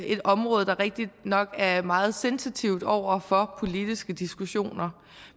et område der rigtigt nok er meget sensitivt over for politiske diskussioner